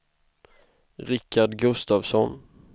Rickard Gustavsson